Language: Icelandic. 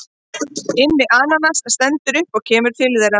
Immi ananas stendur upp og kemur til þeirra.